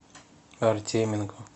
артеменко